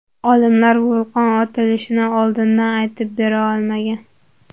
Olimlar vulqon otilishini oldindan aytib bera olmagan.